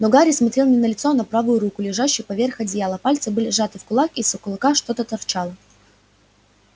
но гарри смотрел не на лицо а на правую руку лежащую поверх одеяла пальцы были сжаты в кулак из кулака что-то торчало